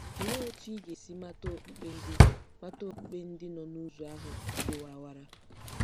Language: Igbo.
Olee otú ị ga-esi mata okpukpe ndị mata okpukpe ndị nọ n'ụzọ ahụ dị warara?